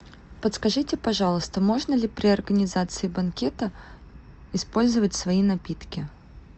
подскажите пожалуйста можно ли при организации банкета использовать свои напитки